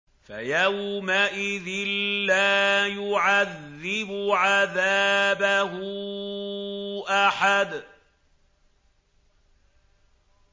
فَيَوْمَئِذٍ لَّا يُعَذِّبُ عَذَابَهُ أَحَدٌ